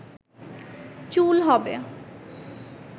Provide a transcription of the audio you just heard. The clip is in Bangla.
চুল হবে